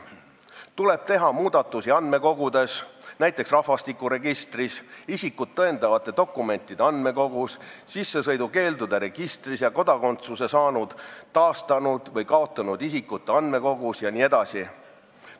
Tuleb teha muudatusi andmekogudes, näiteks rahvastikuregistris, isikut tõendavate dokumentide andmekogus, sissesõidukeeldude registris ja kodakondsuse saanud, taastanud või kaotanud isikute andmekogus jne.